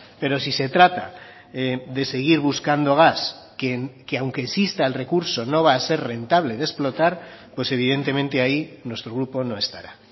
pero si se trata de seguir buscando gas que aunque exista el recurso no va a ser rentable de explotar pues evidentemente ahí nuestro grupo no estará